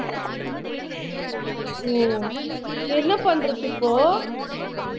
ஓ என்ன பண்றது இப்போ